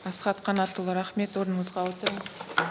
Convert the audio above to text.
асхат қанатұлы рахмет орныңызға отырыңыз